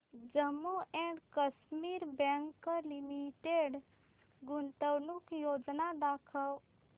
Jammu and Kashmir bank limited गुंतवणूक योजना दाखव